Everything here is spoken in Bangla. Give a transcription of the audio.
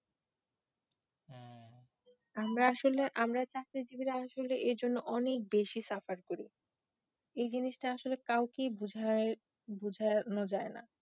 আমরা আসলে আমরা চাকরিজীবীরা আসলে এ জন্য অনেকটা suffer করি, এ জিনিসটা আসলে কাউকেই বুঝানো যায়না